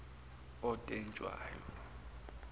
notetshwayo